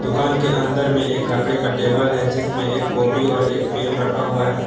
दुकान के अंदर में एक लकड़ी का टेबल है जिसमें एक कॉपी और एक पेन रखा हुआ है।